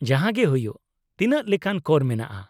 -ᱡᱟᱦᱟᱸᱜᱮ ᱦᱩᱭᱩᱜ, ᱛᱤᱱᱟᱹᱜ ᱞᱮᱠᱟᱱ ᱠᱚᱨ ᱢᱮᱱᱟᱜᱼᱟ ?